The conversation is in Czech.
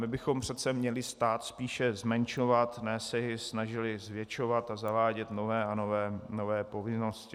My bychom přece měli stát spíše zmenšovat, ne se jej snažili zvětšovat a zavádět nové a nové povinnosti.